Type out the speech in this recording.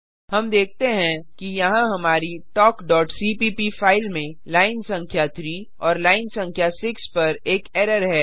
हम देखते हैं कि यहाँ हमारी talkसीपीप फाइल में लाइन संख्या 3 और लाइन संख्या 6 पर एक एरर है